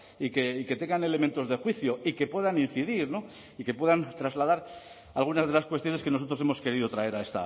y que tengan elementos de juicio y que puedan incidir no y que puedan trasladar algunas de las cuestiones que nosotros hemos querido traer